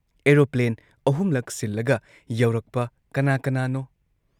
Aeroplane ꯑꯍꯨꯝꯂꯛ ꯁꯤꯜꯂꯒ ꯌꯧꯔꯛꯄ ꯀꯅꯥ ꯀꯅꯥꯅꯣ?